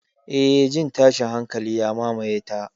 Eh, jin tashin hankali ya mamaye ta.